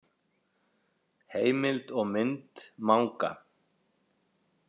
Heimild og mynd Manga.